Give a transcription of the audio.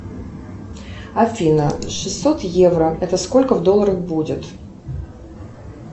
афина шестьсот евро это сколько в долларах будет